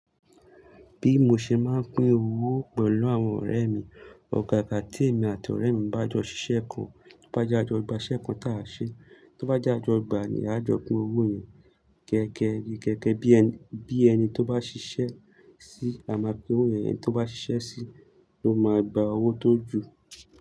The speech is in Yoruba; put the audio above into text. Bí mo ṣe máa ń pín owó pẹ̀lú àwọn ọ̀rẹ́ mi, ọ̀gàgà tí èmi àti ọ̀rẹ́ mi bá jọ ṣiṣẹ́ kan, tó bá jẹ́ a jọ gbà ṣẹ́ kan táa ṣẹ, tó bá jẹ́ a jọ gbà ni a jọ pín owó yẹn gẹ́gẹ́. Gẹ́gẹ́ bí ẹni tó bá ṣiṣẹ́ sí i, la máa pín owó, ẹni tó bá ṣiṣẹ́ sí i ló máa gba owó tó ju.